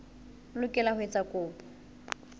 o lokela ho etsa kopo